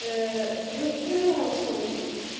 а ну проверяю с толком